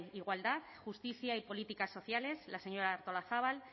igualdad justicia y políticas sociales la señora artolazabal